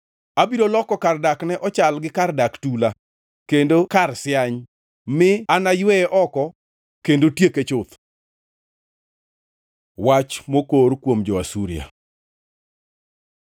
“Abiro loko kar dakne ochal gi kar dak tula, kendo kar siany; mi anayweye oko kendo tieke chuth.” Wach mokor kuom jo-Asuria